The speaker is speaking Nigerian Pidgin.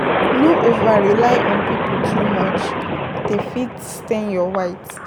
No over rely on pipo too much dem fit stain your white